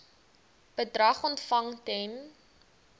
bedrag ontvang ten